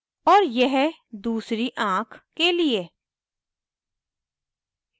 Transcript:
और यह दूसरी आँख के लिए